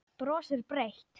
Brosir breitt.